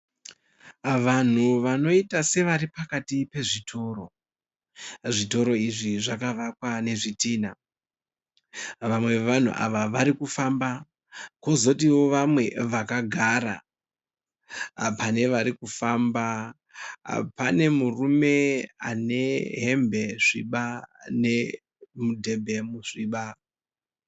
Vanhu vanoita sevari pakati pezvitoro. Zvitoro izvi zvakavakwa nezvidhinha. Vamwe vavanhu ava vari kufamba kozotiwo vamwe vakagara. Pane vari kufamba pane murume ane hembe sviba nemudhebhe musviba.